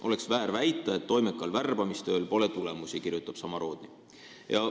Oleks väär väita, et toimekal värbamistööl pole tulemusi, kirjutab Samorodni.